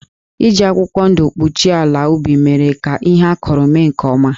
Iji akwụkwọ ndụ kpuchie ala ubi mere ka ihe a kụrụ mee nke ọma.